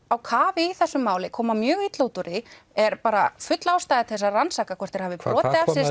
á kafi í þessu máli koma mjög illa út úr því er bara full ástæða til þess að rannsaka hvort þeir hafi brotið af sér